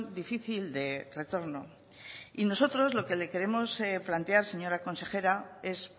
difícil de retorno y nosotros lo que le queremos plantear señora consejera es